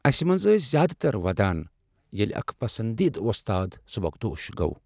اسہ منٛز ٲسۍ زیادٕ تر ودان ییٚلہ اکھ پسندیدٕ وۄستاد سبکدوش گوٚو۔